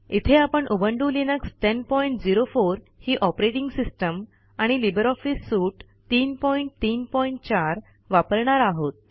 इथे आपण Ubuntu Linux 1004 ही ऑपरेटिंग सिस्टम आणि लिब्रे ऑफिस सूट 334 वापरणार आहोत